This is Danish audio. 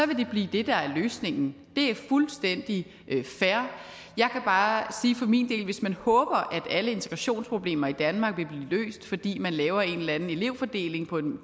vil det blive det der er løsningen det er fuldstændig fair jeg kan bare sige for min del at hvis man håber at alle integrationsproblemer i danmark vil blive løst fordi man laver en eller anden elevfordeling på en